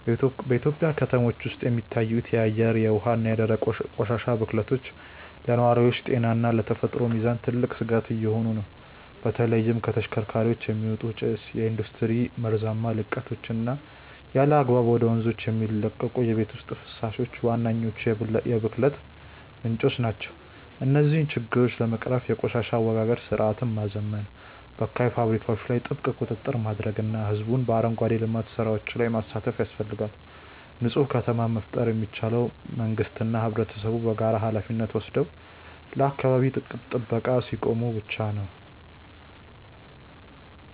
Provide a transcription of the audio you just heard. በኢትዮጵያ ከተሞች ውስጥ የሚታዩት የአየር፣ የውሃ እና የደረቅ ቆሻሻ ብክለቶች ለነዋሪዎች ጤና እና ለተፈጥሮ ሚዛን ትልቅ ስጋት እየሆኑ ነው። በተለይም ከተሽከርካሪዎች የሚወጣ ጭስ፣ የኢንዱስትሪ መርዛማ ልቀቶች እና ያለአግባብ ወደ ወንዞች የሚለቀቁ የቤት ውስጥ ፈሳሾች ዋነኞቹ የብክለት ምንጮች ናቸው። እነዚህን ችግሮች ለመቅረፍ የቆሻሻ አወጋገድ ስርዓትን ማዘመን፣ በካይ ፋብሪካዎች ላይ ጥብቅ ቁጥጥር ማድረግ እና ህዝቡን በአረንጓዴ ልማት ስራዎች ላይ ማሳተፍ ያስፈልጋል። ንፁህ ከተማን መፍጠር የሚቻለው መንግስትና ህብረተሰቡ በጋራ ሃላፊነት ወስደው ለአካባቢ ጥበቃ ሲቆሙ ብቻ ነው።